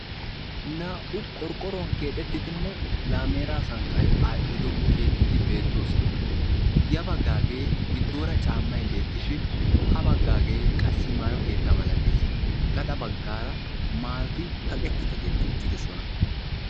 naa''u qorqqoruwan keexettidinne laameera sanqqay aadhdhido keettati beettoosona ya baggaagee giddoora caammay beettishin ha baggaagee qassi maayo keetta malatees gaxa baggaara maayoti kaqetti kaqetti uttidosona